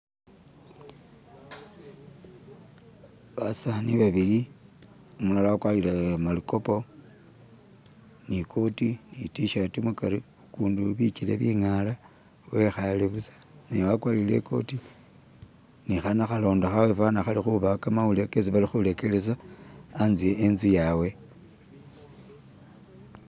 Basaani babili umulala wagwarile malikopu ni koti ni tishati mukari ugundi bigere bingara wikhare busa ne wagwarile ikoti ni khanakhalondo khabwe fana khali khubawa kamawulile khesi bali khuregelesa hatse hetsu yabwe